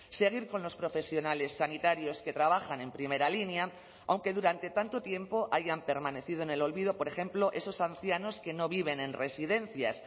seguir con los profesionales sanitarios que trabajan en primera línea aunque durante tanto tiempo hayan permanecido en el olvido por ejemplo esos ancianos que no viven en residencias